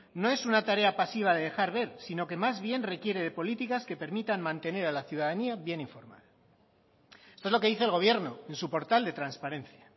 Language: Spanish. no es una tarea pasiva de dejar ver sino que más bien requiere de políticas que permitan mantener a la ciudadanía bien informada esto es lo que dice el gobierno en su portal de transparencia